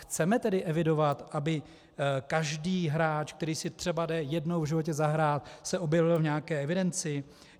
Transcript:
Chceme tedy evidovat, aby každý hráč, který si jde třeba jednou v životě zahrát, se objevil v nějaké evidenci?